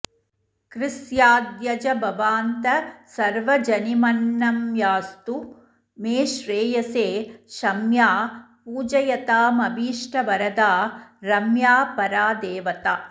कृस्याद्यजभवान्तसर्वजनिमन्नम्यास्तु मे श्रेयसे शम्या पूजयतामभीष्टवरदा रम्या परा देवता